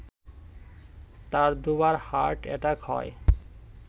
তার দু’বার heart attack হয়